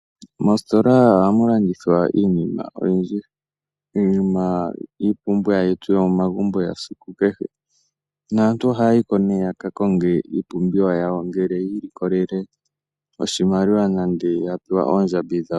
Mositola oha mu landithwa iinima oyindji. Iinima yiipumbiwa yomomagumbo yesiku kehe, naantu ohayi ko yakakonge iipumbiwa yawo ngele yi ilikolele oshimaliwa nenge yapewa oondjambi dhawo.